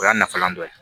O y'a nafalan dɔ ye